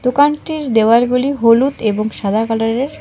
দোকানটির দেওয়ালগুলি হলুদ এবং সাদা কালারের।